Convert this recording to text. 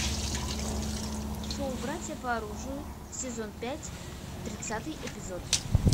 шоу братья по оружию сезон пять тридцатый эпизод